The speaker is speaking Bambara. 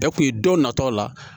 Bɛɛ kun ye don natɔw la